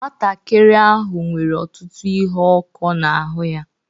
Nwantakịrị ahụ nwere ọtụtụ ihe ọkụ n'ahụ ya